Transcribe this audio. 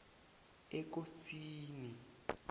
ekosini